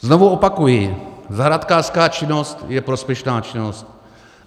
Znovu opakuji: Zahrádkářská činnost je prospěšná činnost.